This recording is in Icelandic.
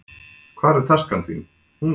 Hvar taskan þín? Hún er á borðinu.